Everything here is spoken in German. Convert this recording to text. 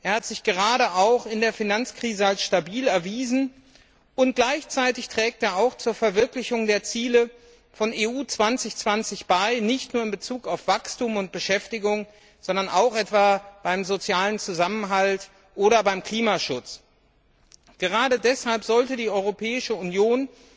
Er hat sich gerade auch in der Finanzkrise als stabil erwiesen, und gleichzeitig trägt er auch zur Verwirklichung der Ziele von EU 2020 bei, nicht nur in Bezug auf Wachstum und Beschäftigung, sondern auch etwa beim sozialen Zusammenhalt oder beim Klimaschutz. Gerade deshalb sollte die Europäische Union